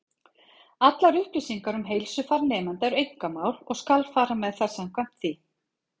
Allar upplýsingar um heilsufar nemenda eru einkamál, og skal fara með þær samkvæmt því.